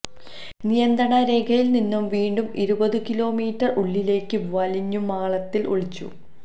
നിയന്ത്രണ രേഖയില് നിന്നും വീണ്ടും ഇരുപതു കിലോ മീറ്റര് ഉള്ളിലേക്കു വലിഞ്ഞ് മാളത്തില് ഒളിച്ചു